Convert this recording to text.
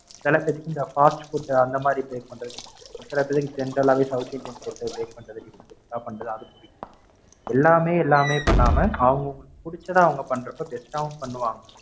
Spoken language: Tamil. சிலபேருக்குஇந்த Fastfood அந்த மாதிரி Bake பண்றதுக்கு, சில பேருக்கு General ஆ South Indian food bake பண்றது அதெல்லாம் புடிக்கும். எல்லாமே எல்லாமே பண்ணாம அவங்க அவங்களுக்கு புடிச்சத அவங்க பன்றப்ப Best ஆவும் பண்ணுவாங்க.